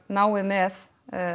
náið með